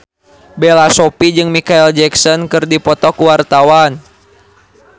Bella Shofie jeung Micheal Jackson keur dipoto ku wartawan